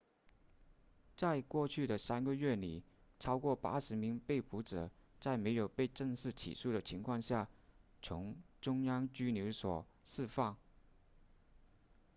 在过去的3个月里超过80名被捕者在没有被正式起诉的情况下从中央拘留所释放